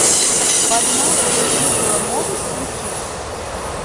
под маской жигало можешь включить